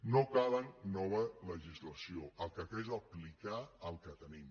no cal nova legislació el que cal és aplicar el que tenim